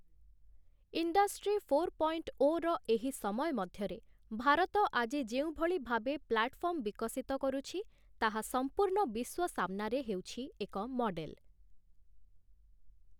Industry four point o ର ଏହି ସମୟ ମଧ୍ୟରେ ଭାରତ ଆଜି ଯେଉଁଭଳି ଭାବେ ପ୍ଲାଟଫର୍ମ ବିକଶିତ କରୁଛି, ତାହା ସମ୍ପୂର୍ଣ୍ଣ ବିଶ୍ୱ ସାମ୍ନାରେ ହେଉଛି ଏକ ମଡେଲ ।